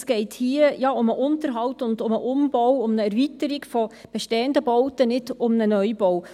Es geht hier um den Unterhalt, um den Umbau und um eine Erweiterung bestehender Bauten, nicht um einen Neubau.